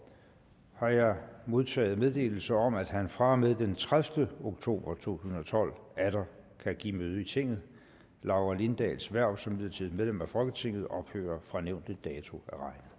har jeg modtaget meddelelse om at han fra og med den tredivete oktober to tusind og tolv atter kan give møde i tinget laura lindahls hverv som midlertidigt medlem af folketinget ophører fra nævnte dato